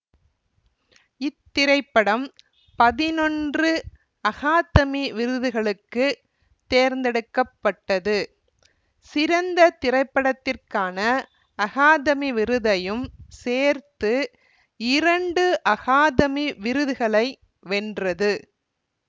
இத்திரைப்படம் பதினொன்று அகாதமி விருதுகளுக்கு தேர்ந்தெடுக்க பட்டது சிறந்த திரைப்படத்திற்கான அகாதமி விருதையும் சேர்த்து இரண்டு அகாதமி விருதுகளை வென்றது